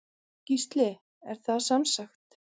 Gísli: Er það semsagt.